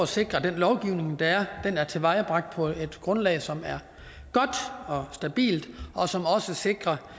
sikre at den lovgivning der er er tilvejebragt på et grundlag som er godt og stabilt og som også sikrer